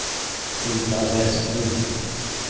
Hulda Vestlund